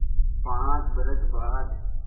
पाँच बरस बाद